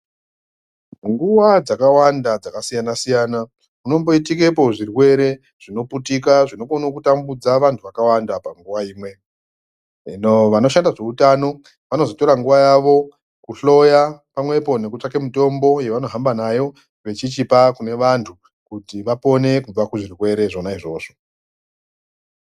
Nguwa dzakawanda dzakasiyana siyana kunomboitikepo zvirwere zvinoputika zvinokona kutambudza vantu vakawanda panguva imwe hino vanoshanda zveutano vanozotora nguwa yawo kuhloya pamwepo nekutsvake mitombo yevanohamba nayo vachichipe kune vantu kuti vapone kubva kuzvirwere zvona izvozvo.